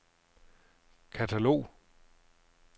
katalog